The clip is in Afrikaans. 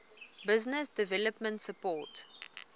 business development support